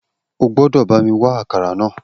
O gbọ́dọ̀ bá mi wá akara náà